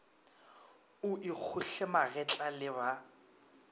o ikgohle magetla le ba